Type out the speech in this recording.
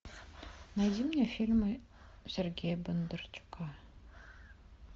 найди мне фильмы сергея бондарчука